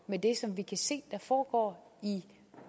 med det som vi kan se foregår i